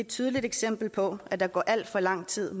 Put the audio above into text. tydeligt eksempel på at der går al for lang tid